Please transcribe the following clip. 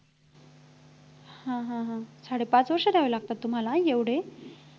हा हा हा साडेपाच वर्ष करायला लागतात तुम्हाला एवढे